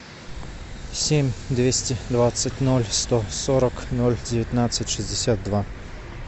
семь двести двадцать ноль сто сорок ноль девятнадцать шестьдесят два